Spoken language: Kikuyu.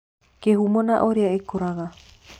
Kĩhumo na ũrĩa ikũraga